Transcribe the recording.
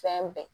Fɛn bɛɛ